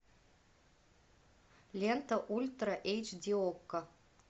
лента ультра эйч ди окко